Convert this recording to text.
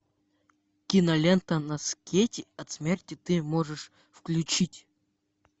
кинолента на скейте от смерти ты можешь включить